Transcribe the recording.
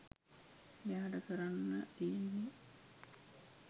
එයාට කරන්න තියෙන්නේ